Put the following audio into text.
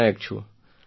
પટનાયક છું